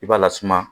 I b'a lasuma